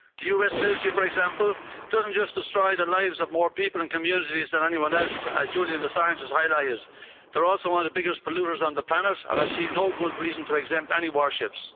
The US military, for example, doesn't just destroy the lives of more people and communities than anyone else, as Julian Assange has highlighted, they're also one of the biggest polluters on the planet, and I see no good reason to exempt any warships.